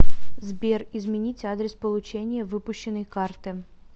сбер изменить адрес получения выпущенной карты